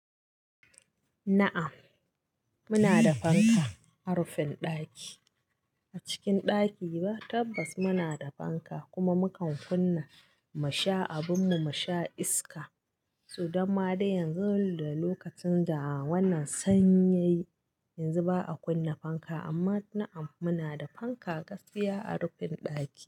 Na'am, muna da fanka a rufin ɗaki. A cikin ɗaki ba tabbas muna da fanka kuma mukan kunna mu sha abin mu, mu sha iska. To damma dai yanzu da lokacin da wannan sanyi yayi, yanzu ba a kunna fanka. Amma na'am muna da fanka gaskiya a rufin ɗaki.